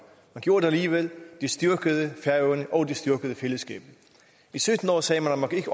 man gjorde det alligevel det styrkede færøerne og det styrkede fællesskabet i sytten år sagde man at man ikke